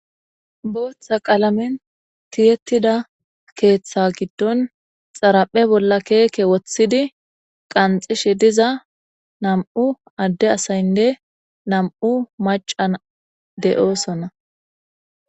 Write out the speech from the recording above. Booththa qaalamen tiyettida keeththa giddon xaraphe bolla keeke woththidi qanxishe diza nam'u adde asaynne nam'u macan de7oosonna.